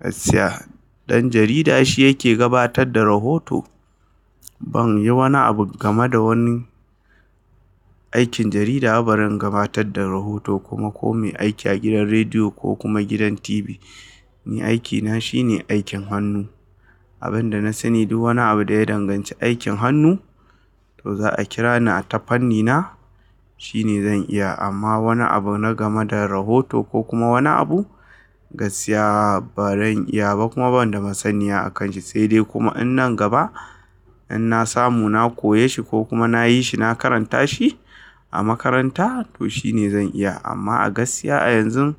Gaskiya ɗan jarida shi yake gabatar da rahoto. Ban yi wani abu game da wani aikin jarida, ba zan gabatar da rahoto kuma ko mai aiki a gidan rediyo ko kuma gidan TV. Ni aikina shine aikin hannu. Abin da na sani duk wani abu da ya danganci aikin hannu to za a kira ni a tafarnina shine zan iya. Amma wani abu na game da rahoto ko kuma wani abu gaskiya ba zan iya ba kuma ban da masaniya a kan shi. Sai dai kuma in nan gaba in na samu na koya shi ko kuma na yi shi, na karanta shi a makaranta to shine zan iya. Amma a gaskiya a yanzun